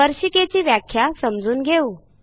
स्पर्शिकेची व्याख्या समजून घेऊ